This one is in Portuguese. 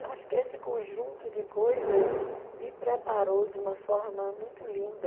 Eu acho que esse conjunto de coisas me preparou de uma forma muito linda